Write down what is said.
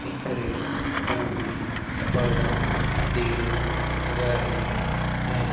बिखरे हुए पड़ा देख रहे हैं।